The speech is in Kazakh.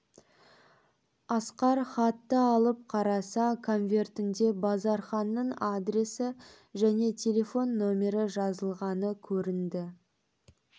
асқар хатты алып қараса конвертінде базарханның адресі және телефон номері жазылғаны көрінді